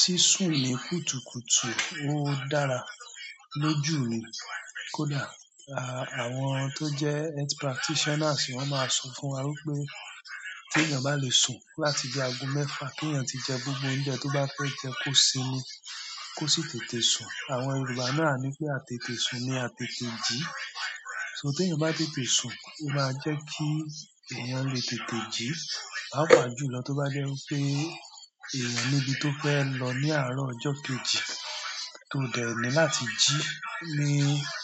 Sísùn ní kùtùkùtù ó dára, lójú mi kódà. Àwọn tó jẹ́ health practitioners wọn máa sọ fún wa wípé tí èèyàn bá lè sùn láti bí agogo mẹ́fa kí èèyàn tí jẹ gbogbo oúnjẹ tó bá fẹ́ jẹ kó sinmi, kó sì tètè sùn. Àwọn yorùbá náà ni pé, àtètè sùn ni àtètè jí so tí èèyàn bá tètè sùn, ó máa jẹ́ kí èèyàn lè tètè jí. Papa jùlọ tó bá jẹ́ wípé ènìyàn ní ibi tó fẹ́ lọ ní àárọ̀ ọjọ́ kejì tó dẹ̀ ní láti jí ní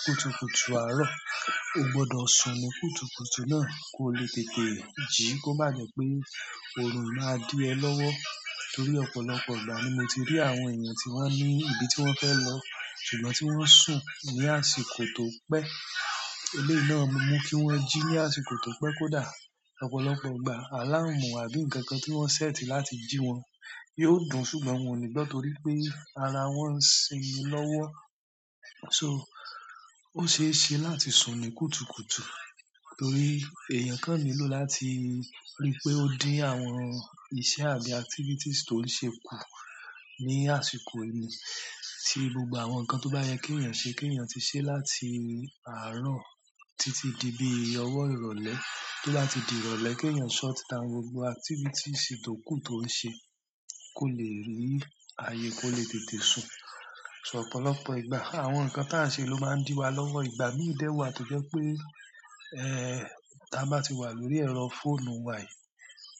kùtùkùtù àárọ̀, ó gbọdọ̀ sùn ní kùtùkùtù náà kó lè tètè jí kó má jẹ́ pé oorun máa dí ẹ lọ́wọ́. Torí ọ̀pọ̀lọpọ̀ ìgbà ni mo tí rí àwọn ènìyàn tí won ní ibi tí wọ́n fẹ́ lọ ṣùgbọ́n tí wọ́n sùn ní àsìkò tó pé eleyii náà máa mú kí wọ́n jí ní àsìkò tó pé, kódà ọ̀pọ̀lọpọ̀ ìgbà, alarm àbí nkankan tí wọ́n sétí láti jí wọn, yóò dùn ṣùgbọ́n wọn ò ní gbọ́ nítorí pé ara wọn ń sinmi lọ́wọ́. So, óṣeéṣe láti sùn ní kùtùkùtù, torí èèyàn kan nílò láti rí pé ó dín àwọn iṣẹ́ àbí activities ti o ń ṣe kù ni àsìkò ni ti gbogbo àwọn ǹkan tó bá yẹ kí èèyàn ṣe, keyan ti ṣe láti àárọ̀ títí di bí owo ìrọ̀lẹ́ to bá ti di ìrọ̀lẹ́, keyan shut down gbogbo activities tó kù tó ń ṣe kó lè rí ààyè kó lè tètè sùn ọ̀pọ̀lọpọ̀ ìgbà àwọn ǹkan ta ń ṣe ló máa di wa lọ́wọ́. Ìgbà mi dé wá tó jẹ́ wípé, eh, ta bá ti wà lórí ẹ̀rọ fóònù wa yìí,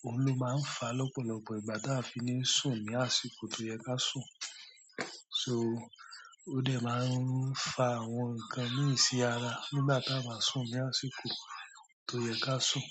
oun ló máa ń fa lọ́pọ̀lọpọ̀ ìgbà ta fi ni sùn ní àsìkò tó yẹ kí a sùn. O dẹ̀ máa ń fa àwọn ǹkan mi sí ara, nígbà ta bá sùn ní àsìkò tó yẹ ká sùn.